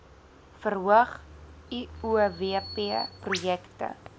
verhoog uowp projekte